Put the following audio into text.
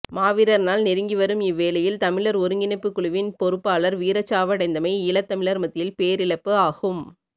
மாவீரர் நாள் நெருங்கிவரும் இவ்வேளையில் தமிழர் ஒருங்கிணைப்புக் குழுவின் பொறுப்பாளர் வீரச்சாவடைந்தமை ஈழத் தமிழர் மத்தியில் பேரிழப்பு ஆகும்